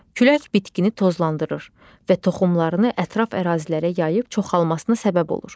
Külək bitkini tozlandırır və toxumlarını ətraf ərazilərə yayıb çoxalmasına səbəb olur.